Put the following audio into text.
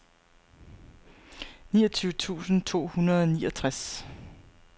niogtyve tusind to hundrede og niogtres